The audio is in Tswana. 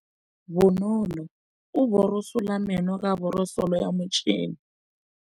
Bonolô o borosola meno ka borosolo ya motšhine.